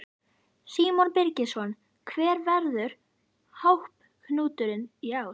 Símon Birgisson: Hver verður hápunkturinn í ár?